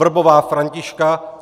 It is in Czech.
Vrbová Františka